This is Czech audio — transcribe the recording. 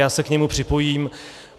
Já se k němu připojím.